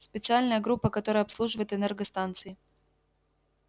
специальная группа которая обслуживает энергостанции